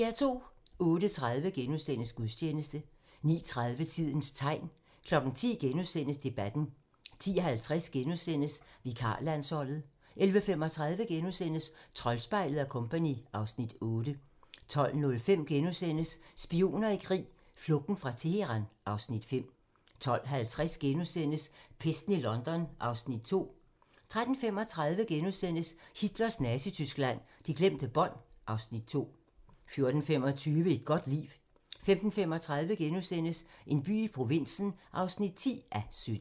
08:30: Gudstjeneste * 09:30: Tidens tegn 10:00: Debatten * 10:50: Vikarlandsholdet * 11:35: Troldspejlet & Co. (Afs. 8)* 12:05: Spioner i krig: Flugten fra Teheran (Afs. 5)* 12:50: Pesten i London (Afs. 2)* 13:35: Hitlers Nazityskland: De glemte bånd (Afs. 2)* 14:25: Et godt liv 15:35: En by i provinsen (10:17)*